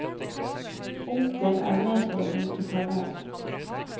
Onkel er med for å vinke farvel.